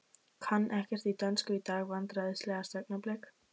Kann ekkert í dönsku í dag Vandræðalegasta augnablik?